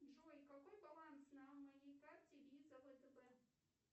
джой какой баланс на моей карте виза втб